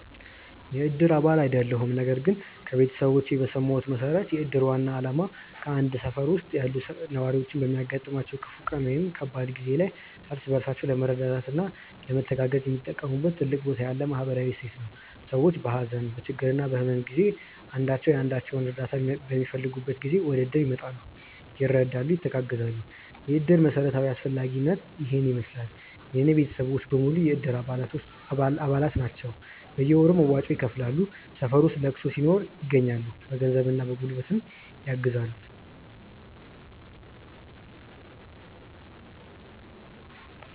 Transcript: የእድር አባል አይደለሁም ነገር ግን ከቤተሰቦቼ በሰማሁት መሠረት የእድር ዋና ዓላማ በአንድ ሠፈር ውስጥ ያሉ ነዋሪዎች በሚያጋጥማቸው ክፉ ቀን ወይም ከባድ ጊዜ ላይ እርስ በራሳቸው ለመረዳዳትና ለመተጋገዝ የሚጠቀሙበት ትልቅ ቦታ ያለው ማኅበራዊ እሴት ነው። ሰዎች በሀዘን፣ በችግርና በሕመም ጊዜ አንዳቸው የአንዳቸውን እርዳታ በሚፈልጉበት ጊዜ ወደእድር ይመጣሉ፤ ይረዳሉ፣ ይተጋገዛሉ። የእድር መሠረታዊ አስፈላጊነት ይሔን ይመሥላል። የእኔ ቤተሰቦች በሙሉ የእድር አባላት ናቸው ናቸው። በየወሩ መዋጮውን ይከፍላሉ፣ ሠፈር ውስጥ ለቅሶ ሲኖር ይገኛሉ። በገንዘብና በጉልበት ያግዛሉ።